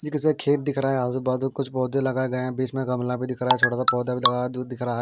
एक ऐसा खेत दिख रहा है। आजु बाजू कुछ पौधे लगाये गए है। बीच में गमला भी दिख रहा है। छोटा सा पैधा भी लगा है। दूध दिख रहा।